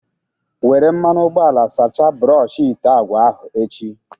Were mmanụ ụgbọala sacha brọshị ite agwa ahụ echi.